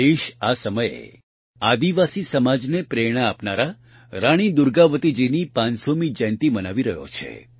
દેશ આ સમયે આદિવાસી સમાજને પ્રેરણા આપનારા રાણી દુર્ગાવતીજીની ૫૦૦મી જયંતિ મનાવી રહ્યો છે